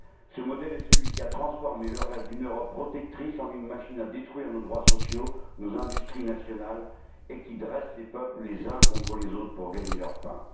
Ce modèle est celui qui a transformé le rêve d'une Europe protectrice en une machine à détruire nos droits sociaux, nos industries nationales, et qui dresse les peuples les uns contre les autres pour gagner leur pain.